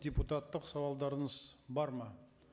депутаттық сауалдарыңыз бар ма